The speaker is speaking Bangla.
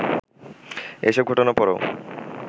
এসব ঘটনার পরও